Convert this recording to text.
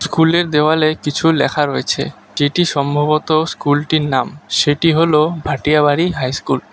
School এর দেওয়ালে কিছু লেখা রয়েছে যেটি সম্ভবত স্কুল টির নাম সেটি হলো ভাটিয়া বাড়ি হাই স্কুল ।